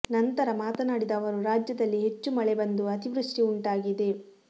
ನಂತರ ಮಾತನಾಡಿದ ಅವರು ರಾಜ್ಯದಲ್ಲಿ ಹೆಚ್ಚು ಮಳೆ ಬಂದು ಅತಿವೃಷ್ಠಿ ಉಂಟಾಗಿದೆ